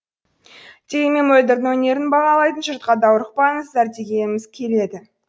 дегенмен мөлдірдің өнерін бағалайтын жұртқа даурықпаңыздар дегіміз келеді